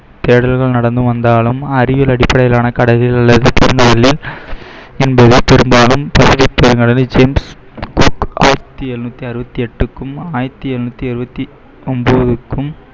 தேடல்கள் நடந்து வந்தாலும் அறிவியல் அடிப்படையிலான கடலிலுள்ள பெரும்பாலும் பசிபிக் ஆயிரத்தி எழுநூத்தி அறுபத்தி எட்டுக்கும் ஆயிரத்தி எழுநூத்தி எழுவத்தி ஒன்பதுக்கும்